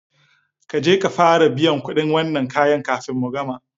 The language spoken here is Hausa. Kaje ka fara biyan kuɗin wannan kayan kafin mu gama